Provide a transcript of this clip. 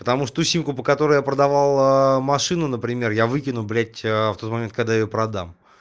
потому что ту симку по которой я продавал машину например я выкину блять в тот момент когда её продам